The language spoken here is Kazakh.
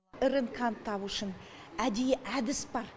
рнк ны табу үшін әдейі әдіс бар